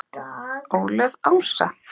Ólöf Ása.